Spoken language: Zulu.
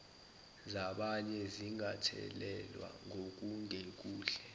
zabanye zingathelelwa ngokungekuhle